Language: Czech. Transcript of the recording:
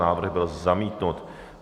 Návrh byl zamítnut.